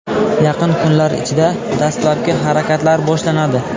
Yaqin kunlar ichida dastlabki harakatlar boshlanadi.